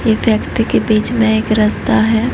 एक व्यक्ति के बीच में एक रस्ता है।